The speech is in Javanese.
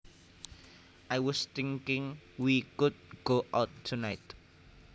I was thinking we could go out tonight